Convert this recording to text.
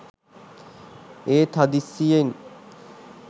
ඒත් හදිසියෙන්